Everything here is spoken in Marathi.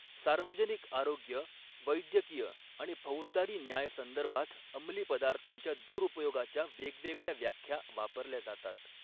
सार्वजनिक आरोग्य, वैद्यकीय आणि फौजदारी न्याय संदर्भात अंमली पदार्थांच्या दुरुपयोगाच्या वेगवेगळ्या व्याख्या वापरल्या जातात.